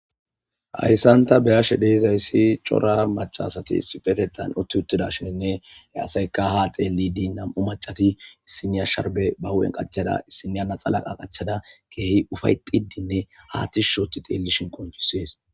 Hayissani ta beyashe dizayisi corra maccati ha xelishene utti utidayissa assatika ha xeliddi issiniya sharibbe ba hupheni qachada issiniya laxxana qachada ke ufayetidine ha tishi udi xelishin qonicisesi